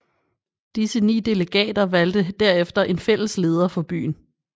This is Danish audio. Disse ni delegater valgte derefter en fælles leder for byen